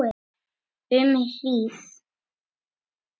Um hríð.